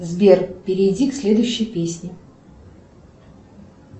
сбер перейди к следующей песне